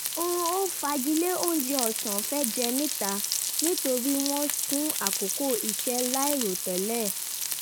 a fagilé oúnjẹ ọ̀sán fẹ́ jẹ níta nítorí wọ́n sún àkókò iṣẹ́ láìròtẹ́lẹ̀